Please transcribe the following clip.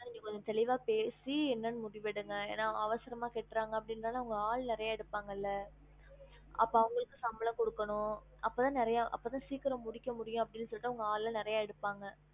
அதனால நீங்க கொஞ்சம் தெளிவா பேசி என்னென்னு முடிவு எடுங்க ஏனா அவசரமா கெட்டுராங்க அப்டிங்குரதுனால அவங்க ஆள் நிறைய எடுப்பாங்கள்ள அப்ப அவங்களுக்கு சம்பளம் குடுக்கணும் அப்பதா நிறைய அப்பதா சீக்கிரம் முடிக்க முடியும் அப்டின்னு சொல்லிட்டு அவங்க ஆளுலாம் நிறைய எடுப்பாங்க